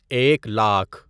ایک لاکھ